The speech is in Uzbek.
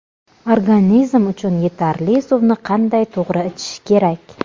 Organizm uchun yetarli suvni qanday to‘g‘ri ichish kerak?